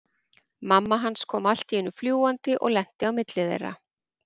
Mamma hans kom allt í einu fljúgandi og lenti á milli þeirra.